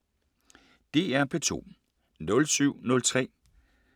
DR P2